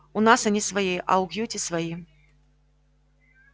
у нас они свои а у кьюти свои